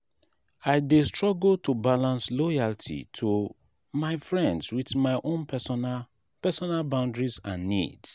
i dey struggle to balance loyalty to my friends with my own personal personal boundaries and needs.